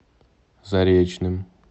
заречным